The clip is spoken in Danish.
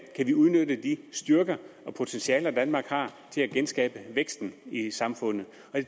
kan udnytte de styrker og potentialer danmark har til at genskabe væksten i samfundet